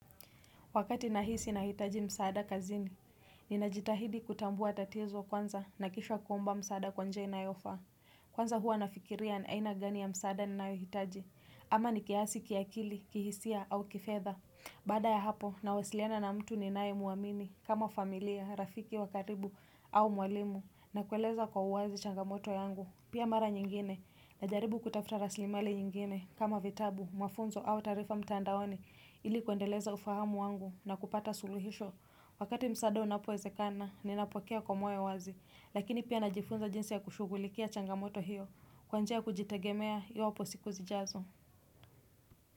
Wakati nahisi nahitaji msaada kazini, ninajitahidi kutambua tatizo kwanza na kisha kuomba msaada kwa njia inayofaa. Kwanza huwa nafikiria ni aina gani ya msaada ninayohitaji. Ama ni kiasi kiakili, kihisia au kifedha. Baada ya hapo, nawasiliana na mtu ninaye muamini kama familia, rafiki wa karibu au mwalimu na kueleza kwa uwazi changamoto yangu. Pia mara nyingine najaribu kutafuta rasilimali nyingine kama vitabu, mafunzo au taarifa mtandaoni ili kuendeleza ufahamu wangu na kupata suluhisho. Wakati msaada unapowezekana, ninapokea kwa moyo wazi, lakini pia najifunza jinsi ya kushughulikia changamoto hiyo, kwa njia ya kujitegemea iwapo siku zijazo.